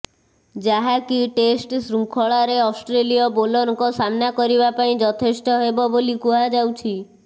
ଯାହାକି ଟେଷ୍ଟ୍ ଶୃଙ୍ଖଳାରେ ଅଷ୍ଟ୍ରେଲୀୟ ବୋଲରଙ୍କ ସାମ୍ନା କରିବା ପାଇଁ ଯଥେଷ୍ଟ ହେବ ବୋଲି କୁହାଯାଉଛି